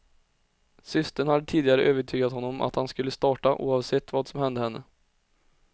Systern hade tidigare övertygat honom om att han skulle starta, oavsett vad som hände henne.